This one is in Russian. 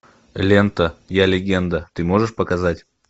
лента я легенда ты можешь показать